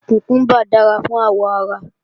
Kùkúmbà dára fún àwọ̀ ara